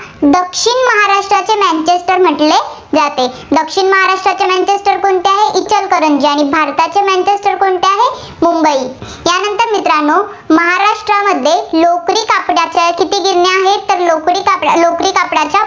दक्षिण महाराष्ट्रातील कोणते आहे इचलकरंजी. आणि भारताचे मँचेस्टर कोणते आहे, मुंबई. यानंतर मित्रांनो महाराष्ट्रामध्ये लोकरी कापडाच्या किती गिरण्या आहेत? तर लोकरी कापडाच्या